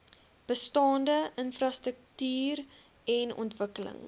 bestaande infrastruktuuren ontwikkeling